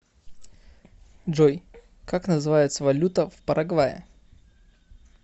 джой как называется валюта в парагвае